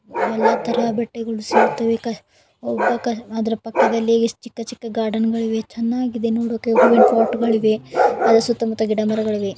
ಇಲ್ಲಿ ಎಲ್ಲಾ ತರ ಬಟ್ಟೆಗಳು ಸಿಗುತ್ತದೆ ಅದರ ಪಕ್ಕದಲ್ಲಿ ಚಿಕ್ಕ ಚಿಕ್ಕ ಗಾರ್ಡನ್ ಗಳಿವೆ ಚೆನ್ನಾಗಿ ವಾಟ್ಗಳಿವೆ ಸಣ್ಣಪುಟ್ಟ ಸೋತ ಮಾತಾ ಮರಗಳಿವೆ.